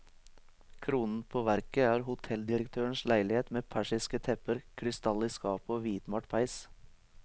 Kronen på verket er hotelldirektørens leilighet med persiske tepper, krystall i skapet og hvitmalt peis.